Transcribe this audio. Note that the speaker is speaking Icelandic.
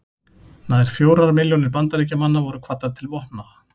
Nær fjórar milljónir Bandaríkjamanna voru kvaddar til vopna.